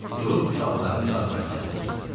Durub uşaqların çarpayısına yaxınlaşdı.